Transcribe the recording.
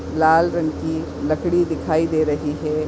लाल रंग की लकड़ी दिखाई दे रही है।